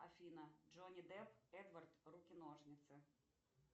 афина джонни депп эдвард руки ножницы